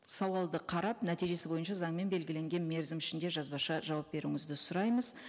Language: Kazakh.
сауалды қарап нәтижесі бойынша заңмен белгіленген мерзім ішінде жазбаша жауап беруіңізді сұраймыз